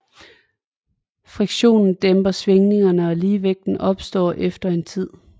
Friktionen dæmper svingningerne og ligevægt opstår efter en tid